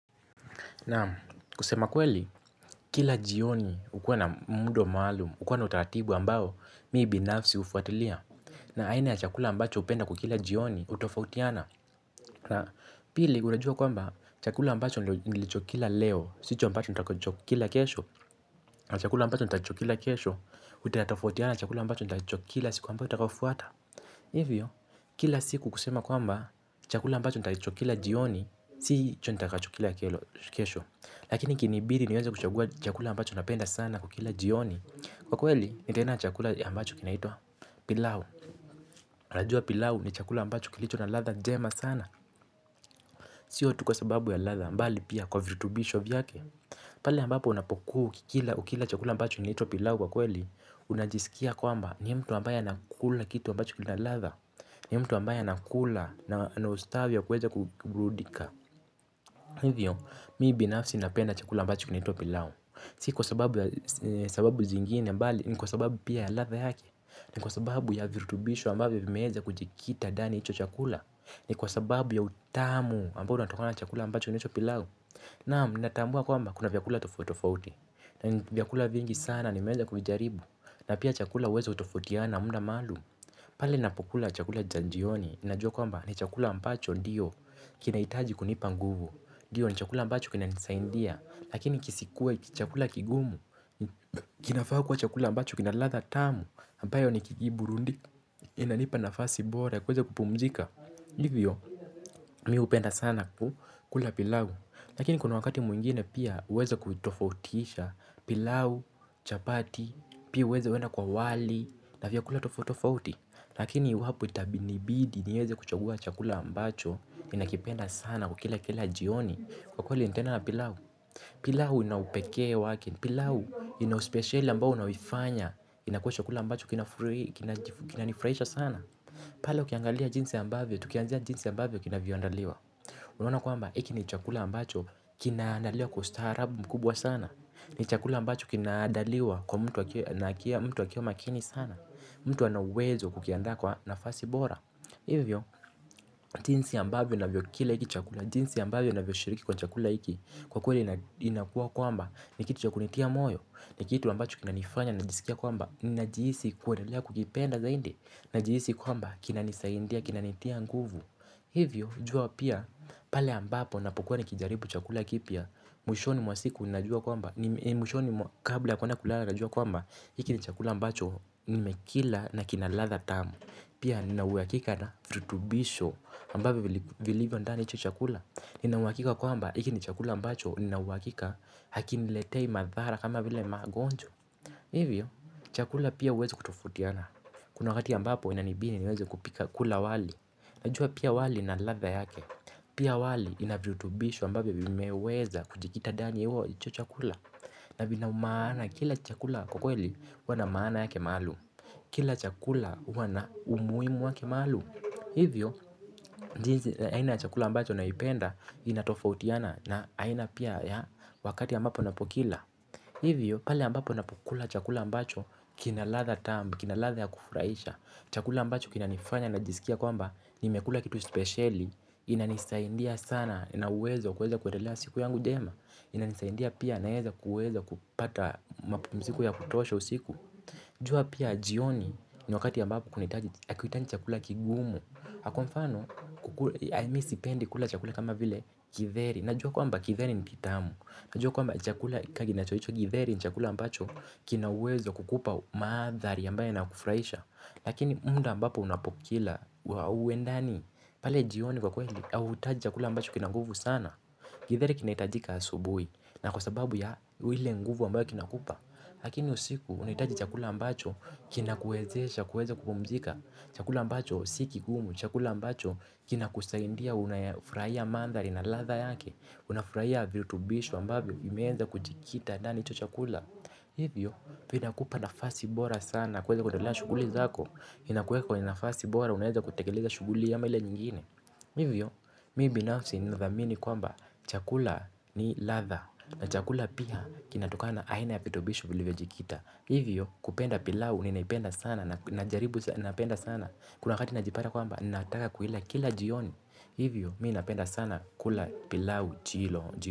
Naam kusema kweli, kila jioni ukuwa na mdo maalum, ukuwa na utaratibu ambao, mii binafsi ufuatilia. Na aina ya chakula ambacho upenda kukila jioni, utofautiana. Na pili, gulajua kwamba, chakula ambacho nilichokila leo, sicho ambacho nitakachokila kesho. Na chakula ambacho nitachokila kesho, utafotiana chakula ambacho nitachokila siku ambao utafotiana. Hivyo, kila siku kusema kwamba, chakula ambacho nitachokila jioni, sicho nitakachokila kesho. Lakini kinibiri niweza kuchagua chakula ambacho napenda sana kukila jioni. Kwa kweli nitaenda chakula ambacho kinaitwa pilau najua pilau ni chakula ambacho kilicho na latha jema sana. Sio tu kwa sababu ya latha mbali pia kwa virutubisho vyake. Pali ambapo unapokua ukila chakula ambacho kinaitwa pilau kwa kweli. Unajisikia kwamba ni mtu ambaye anakula kitu ambacho kilitwa latha. Ni mtu ambaye anakula na ustavya kuweza kuburudika. Hivyo mii binafsi napenda chakula ambacho kinaitwa pilau. Si ki kwa sababu ya sababu zingine mbali ni kwa sababu pia ya latha yake. Ni kwa sababu ya virutubishu ambavyo vimeeza kujikita ndani ya icho chakula. Ni kwa sababu ya utamu ambao unatokona na chakula ambacho inecho pilau. Naam ninatambua kwaamba kuna vyakula tofotofoti. Na vyakula vingi sana nimeeza kujaribu. Na pia chakula weza utofautiana muda maalum. Pale napokula chakula cha njioni najua kwaamba ni chakula ambacho ndiyo kina itaji kunipa nguvu. Diyo ni chakula ambacho kina nisaindia. Lakini kisikue chakula kigumu. Kinafaa kuwa chakula ambacho kinaladha tamu ambayo nikigiburundi. Inanipa nafasi bora ya kuweza kupumzika. Ndivyo mi hupenda sana kula pilau. Lakini kuna wakati mwingine pia uweze kutofautisha. Pilau, chapati, pia uweze wena kwa wali. Na vya kula tofautifauti. Lakini wapu itabinibidi niweze kuchagua chakula ambacho ninakipenda sana kukila kila jioni. Kwa kweli nitaenda na pilau. Pilau ina upekee wake, pilau ina uspeciali ambao unaoifanya inakuwa chakula ambacho kina nifraisha sana. Pala ukiangalia jinsi ambavyo, tukianzia jinsi ambavyo kinavyo andaliwa. Unaona kuamba iki ni chakula ambacho kinaandaliwa kwa ustarabu mkubwa sana. Ni chakula ambacho kinaandaliwa kwa mtu wakiwa makini sana. Mtu anauwezo wa kukiandaa kwa nafasi bora. Hivyo, jinsi ambavyo navyokila iki chakula, jinsi ambavyo naviyo shiriki kwa chakula iki. Kwa kweli inakua kwamba, ni kitu cha kunitia moyo, ni kitu ambacho kinanifanya, najisikia kwamba, najiisi kuedelea kukipenda zaindi, najiisi kwamba kinanisaindia, kinanitia nguvu. Hivyo, jua pia, pale ambapo napokuwa nikijaribu chakula kipya, mwishoni mwa siku, najua kwamba, ni mwishoni kabla ya kuenda kulala, najua kwamba, hiki ni chakula ambacho nimekila na kinaladha tamu. Pia nina uwakika na virutubisho ambavyo vilivyo ndani ya icho chakula. Nina uwakika kwamba iki ni chakula ambacho ninauwakika hakiniletei madhara kama vile magonjwa. Hivyo chakula pia uweze kutofautiana. Kuna wakati ambapo inanibidi niweze kupika kula wali. Najua pia wali ina ladha yake. Pia wali ina virutubisho ambavyo vimeweza kujikita dani ya uo icho chakula. Na vinaumana kila chakula kwa kweli huwa na maana yake maalum. Kila chakula huwa na umuimu wake maalum. Hivyo, jinsi aina chakula ambacho naipenda inatofautiana na aina pia ya wakati ambapo napokila hivyo, pale ambapo napokula chakula ambacho kinaladha tamu, kinaladha ya kufraisha. Chakula ambacho kina nifanya najisikia kwamba nimekula kitu speciali. Inanisaindia sana, inauwezo wa kuweza kuendelea siku yangu jema. Inanisaindia pia naeza kuweza kupata mapumziko ya kutosha usiku. Jua pia jioni ni wakati ambapo kunitaji akuitaji chakula kigumu. Ha kwa mfano ai mi sipendi kula chakula kama vile kitheri. Najua kwamba kitheri ni kitamu. Najua kwamba chakula ka ginachoicho kitheri ni chakula ambacho kinauwezo wa kukupa maathari ambayo yanakufraisha. Lakini mda ambapo unapokila wa uendani pale jioni kwa kweli autaji chakula ambacho kina nguvu sana. Githeri kinaitajika asubui na kwa sababu ya wile nguvu ambayo kinakupa. Lakini usiku unaitaji chakula ambacho kina kuezesha, kueza kupumzika. Chakula ambacho si kigumu, chakula ambacho kina kusaindia unafraia maandhari na ladha yake. Unafraia virutubishu ambavyo vimeenza kujikita ndani ya icho chakula. Hivyo, vinakupa nafasi bora sana kueza kutelaa shuguli zako inakueka kwenye nafasi bora unaeza kutekeleza shuguli ama ile nyingine. Hivyo, mi binafsi ninadhamini kwamba chakula ni ladha. Na chakula pia kinatokana na aina ya vitobisho vilivo jikita. Hivyo kupenda pilau ninaipenda sana. Kuna wakati najipata kwamba ninaataka kuila kila jioni. Hivyo mii napenda sana kula pilau chilo.